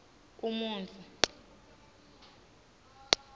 umuntfu